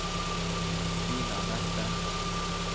Stina Nesse